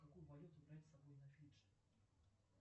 какую валюту брать с собой на фиджи